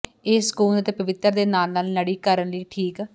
ਇਹ ਸਕੂਨ ਅਤੇ ਪਵਿੱਤਰ ਦੇ ਨਾਲ ਨਾਲ ਨੜੀ ਕਰਨ ਲਈ ਠੀਕ